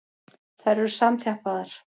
Þær eru samþjappaðar.